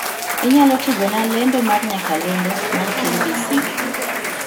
Inyalo tugona lendo mar nyakalondo mar k.b.c